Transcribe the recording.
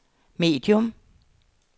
medium